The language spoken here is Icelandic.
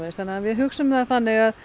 þannig við hugsum það þannig að